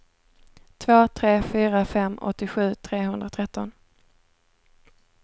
två tre fyra fem åttiosju trehundratretton